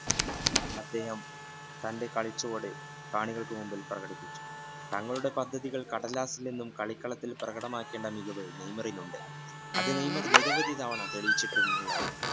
അദ്ദേഹം തന്റെ കളിച്ചുവട് കാണികൾക്ക് കാണികൾക്ക് മുന്നിൽ പ്രകടിപ്പിച്ചു തങ്ങളുടെ പദ്ധതികൾ കടലാസിൽ നിന്നും കളിക്കളത്തിൽ പ്രകടമാക്കിയ ആ മികവ് നെയ്മറിൽ ഉണ്ട് അത് നെയ്മർ നിരവധി തവണ തെളിയിച്ചിട്ടുള്ളതാണ്